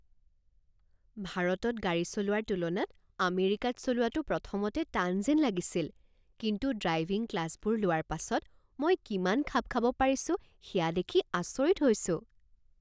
ভাৰতত গাড়ী চলোৱাৰ তুলনাত আমেৰিকাত চলোৱাটো প্ৰথমতে টান যেন লাগিছিল, কিন্তু ড্ৰাইভিং ক্লাছবোৰ লোৱাৰ পাছত মই কিমান খাপ খাব পাৰিছোঁ সেয়া দেখি আচৰিত হৈছোঁ।